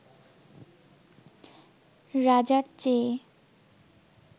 রাজার চেয়ে